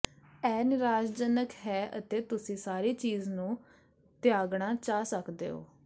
ਇਹ ਨਿਰਾਸ਼ਾਜਨਕ ਹੈ ਅਤੇ ਤੁਸੀਂ ਸਾਰੀ ਚੀਜ਼ ਨੂੰ ਤਿਆਗਣਾ ਚਾਹ ਸਕਦੇ ਹੋ